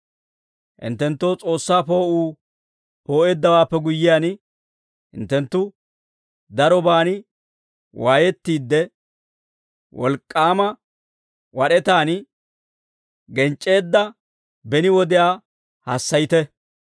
Hinttenttoo S'oossaa poo'uu poo'eeddawaappe guyyiyaan, hinttenttu daroban waayettiide, wolk'k'aama wad'etaan genc'c'eedda beni wodiyaa hassayite.